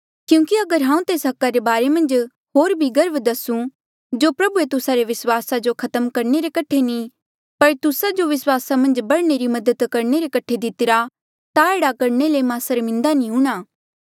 क्यूंकि अगर हांऊँ तेस हका रे बारे मन्झ होर भी गर्व दस्सुं जो प्रभुए तुस्सा रे विस्वास जो खत्म करणे रे कठे नी पर तुस्सा जो विस्वासा मन्झ बढ़ने री मदद रे कठे दितिरा ता एह्ड़ा करणे ले मां सर्मिन्दा नी हूंणां